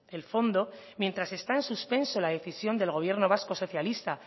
el fondo mientras está en suspenso la decisión del gobierno vasco socialista